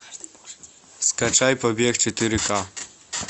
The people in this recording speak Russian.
скачай побег четыре к